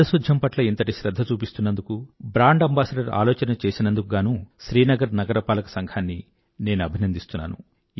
పారిశుధ్యం పట్ల ఇంతటి శ్రధ్ధ చూపిస్తున్నందుకు బ్రాండ్ అంబాసిడర్ ఆలోచన చేసినందుకు గానూ శ్రీనగర్ నగరపాలక సంఘాన్ని నేను అభినందిస్తున్నాను